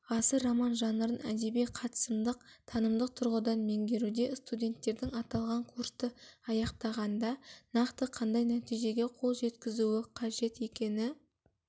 ғасыр роман жанрын әдеби қатысымдық-танымдық тұрғыдан меңгеруде студенттердің аталған курсты аяқтағанда нақты қандай нәтижеге қол жеткізуі қажет екені